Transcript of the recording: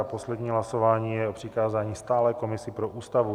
A poslední hlasování je o přikázání stálé komisi pro Ústavu.